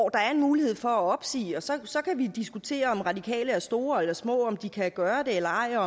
er en mulighed for at opsige og så så kan vi diskutere om de radikale er store eller små om de kan gøre det eller ej og